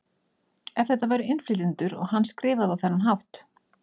Ef þetta væru innflytjendur og hann skrifaði á þennan hátt?